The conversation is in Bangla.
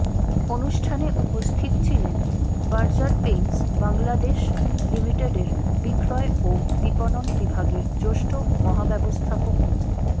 অনুষ্ঠানে উপস্থিত ছিলেন বার্জার পেইন্টস বাংলাদেশ লিমিটেডের বিক্রয় ও বিপণন বিভাগের জ্যেষ্ঠ মহাব্যবস্থাপক মো